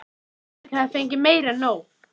Friðrik hafði fengið meira en nóg.